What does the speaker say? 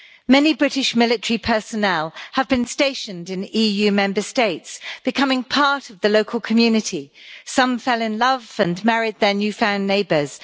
Many British military personnel have been stationed in EU Member States, becoming part of the local community. Some fell in love and married their new found neighbours.